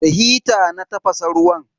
Da hita na tafasa ruwan.